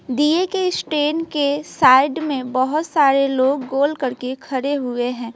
दीए के स्टैंड के साइड में बहुत सारे लोग गोल करके खड़े हुए हैं।